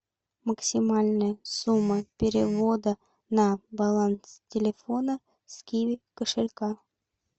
максимальная сумма перевода на баланс телефона с киви кошелька